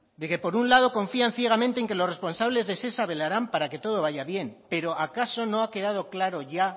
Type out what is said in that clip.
de que por un lado confían ciegamente en que los responsables de shesa velarán para que todo vaya bien pero acaso no ha quedado claro ya